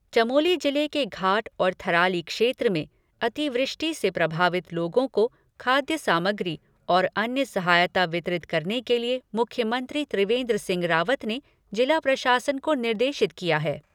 चमोली जिले के घाट और थराली क्षेत्र में अतिवृष्टि से प्रभावित लोगों को खाद्य सामग्री और अन्य सहायता वितरित करने के लिए मुख्यमंत्री त्रिवेन्द्र सिंह रावत ने जिला प्रशासन को निर्देशित किया है।